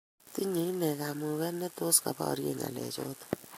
Tinyei inne kamuget netos kobarye ngalechoto